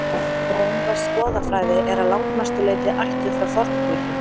rómversk goðafræði er að langmestu leyti ættuð frá forngrikkjum